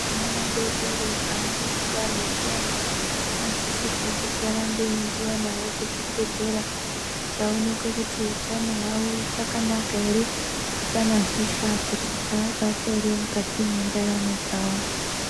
Ana adodori panenge abarwa zviyani anosisirwe kuti arambe eiendiwa nawo kuzvibhehlera kuti aonekwe kuti utano hwawo huchakanaka ere, hapana hosha dzati dzaabata ere mukati mwendaramo dzawo.